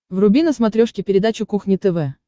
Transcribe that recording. вруби на смотрешке передачу кухня тв